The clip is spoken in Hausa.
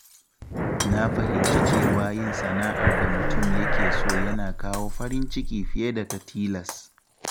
Na fahimci cewa yin sana'ar da mutum yake so yana kawo farin ciki fiye da ta tilas.